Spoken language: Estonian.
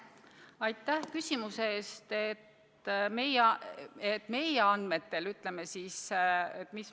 Aitäh küsimuse eest!